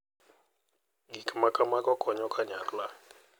Gik ma kamago konyo kanyakla,